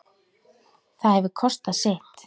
Það hefur kostað sitt.